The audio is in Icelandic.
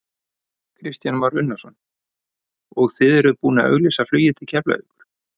Kristján Már Unnarsson: Og þið eruð búinn að auglýsa flugið til Keflavíkur?